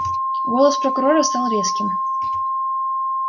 голос прокурора стал резким